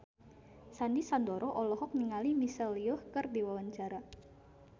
Sandy Sandoro olohok ningali Michelle Yeoh keur diwawancara